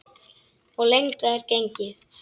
Og lengra er gengið.